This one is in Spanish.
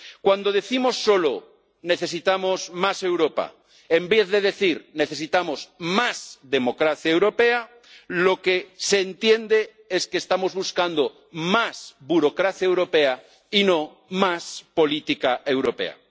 Cuando decimos solo necesitamos más Europa en vez de decir necesitamos más democracia europea, lo que se entiende es que estamos buscando más burocracia europea y no más política europea.